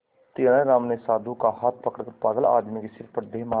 तेनालीराम ने साधु का हाथ पकड़कर पागल आदमी के सिर पर दे मारा